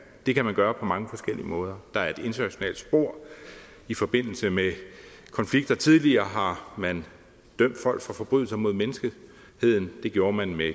det kan man gøre på mange forskellige måder der er et internationalt spor i forbindelse med konflikter tidligere har man dømt folk for forbrydelser mod menneskeheden det gjorde man med